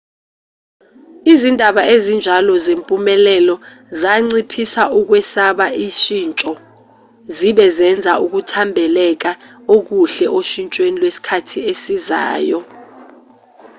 izindaba ezinjalo zempumelelo zanciphisa ukwesaba ushintsho zibe zenza ukuthambekela okuhle oshintshweni lwesikhathi esizayo